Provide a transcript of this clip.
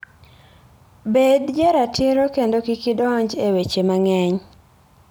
Bed jaratiro kendo kik idonj e weche mang'eny.